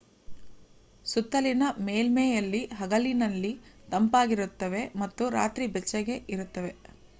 ಸುತ್ತಲಿನ ಮೇಲ್ಮೈಯಲ್ಲಿ ಹಗಲಿನಲ್ಲಿ ತಂಪಾಗಿರುತ್ತವೆ ಮತ್ತು ರಾತ್ರಿ ಬೆಚ್ಚಗೆ ಇರುತ್ತವೆ